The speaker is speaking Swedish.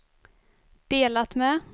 delat med